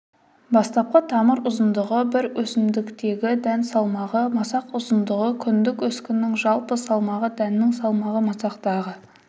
бастапқы тамыр ұзындығы бір өсімдіктегі дән салмағы масақ ұзындығы күндік өскіннің жалпы салмағы дәннің салмағы масақтағы